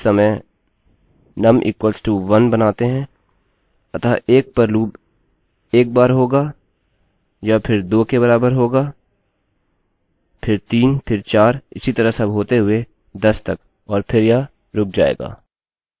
लेकिन वास्तव में हम क्या करेंगे कि इस समय num =1 बनाते हैं अतः 1 पर लूपloop एक बार हो यह फिर 2 के बराबर होगा फिर 3 फिर 4 इसी तरह सब होते हुए 10 तक और फिर यह रुक जाएगा